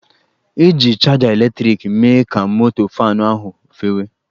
Eji chaja eletrịkị mee ka moto faanụ ahụ fewe